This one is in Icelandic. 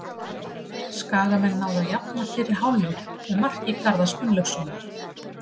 Skagamenn náðu að jafna fyrir hálfleik með marki Garðars Gunnlaugssonar.